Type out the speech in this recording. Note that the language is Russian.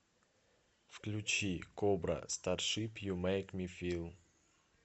включи кобра старшип ю мэйк ми фил